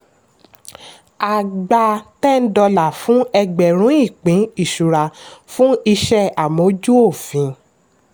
a gba ten dollars fún ẹgbẹ̀rún ìpín ìṣura fún iṣẹ́ amójú-òfin.